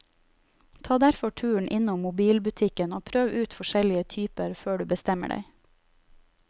Ta derfor turen innom mobilbutikken og prøv ut forskjellige typer før du bestemmer deg.